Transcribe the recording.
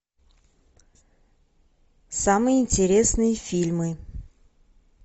самые интересные фильмы